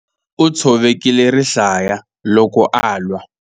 U tshovekile rihlaya loko a lwa.